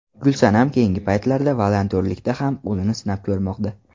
Gulsanam keyingi paytlarda volontyorlikda ham o‘zini sinab ko‘rmoqda.